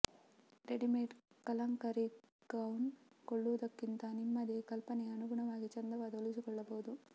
readymade kalamkari gown ಕೊಳ್ಳುವುದಕ್ಕಿಂತ ನಿಮ್ಮದೇ ಕಲ್ಪನೆಗೆ ಅನುಗುಣವಾಗಿ ಚಂದವಾಗಿ ಹೊಲಿಸಿಕೊಳ್ಳಬಹುದು